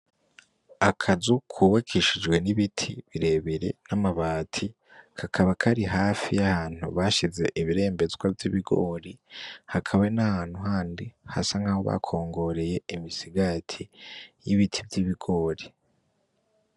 Akazu yubakishijwe n'ibiti birebire n'amabati kakaba kari hafi y'ahantu bashize ibirembezwa vy'ibigori hakaba hari n'ahantu handi hasa nkaho bakongoreye imisigati y'ibiti vy'ibigori.